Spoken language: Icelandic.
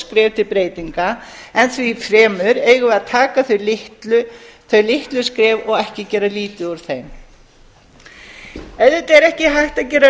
skref til breytinga en því fremur eigum við að taka þau litlu skref og ekki gera lítið úr þeim auðvitað er ekki hægt